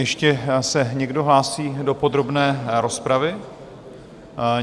Ještě se někdo hlásí do podrobné rozpravy?